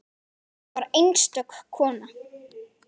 Hún var einstök kona.